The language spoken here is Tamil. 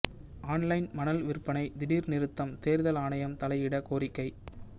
ஆன்லைன் மணல் விற்பனை திடீர் நிறுத்தம் தேர்தல் ஆணையம் தலையிட கோரிக்கை